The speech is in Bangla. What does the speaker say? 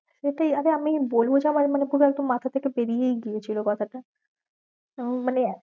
সেটাই আরে আমি বলবো মানে পুরো একদম মাথার থেকে বেরীয়েইগিয়েছিল কথা টা তখন মানে